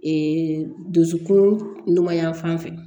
Ee dusukun numan yan fan fɛ